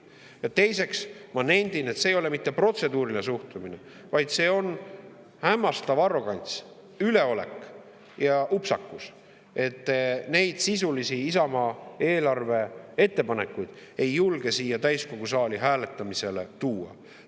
Ja teiseks, ma nendin, et see ei ole mitte protseduuriline suhtumine, vaid see on hämmastav arrogantsus, üleolek ja upsakus, et te neid Isamaa sisulisi ettepanekuid eelarve kohta ei julge siia täiskogu saali hääletamisele tuua.